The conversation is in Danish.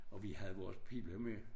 Og vi havde vores pibla med